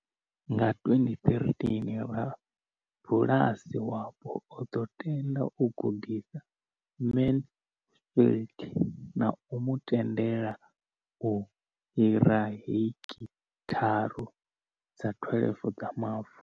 Nga 2013, rabulasi wapo o ḓo tenda u gudisa Mansfield na u mu tendela u hira hekitharu dza 12 dza mavu.